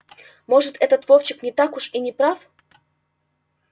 может этот вовчик не так уж и не прав